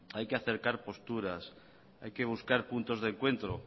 hay que acercar posturas hay que buscar puntos de encuentro